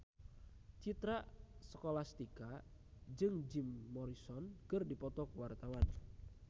Citra Scholastika jeung Jim Morrison keur dipoto ku wartawan